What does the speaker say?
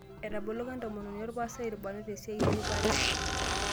Etaboloko entomononi olpastai ilbarnot esiai eripare